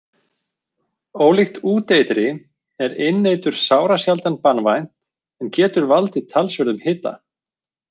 Ólíkt úteitri er inneitur sárasjaldan banvænt en getur valdið talsverðum hita.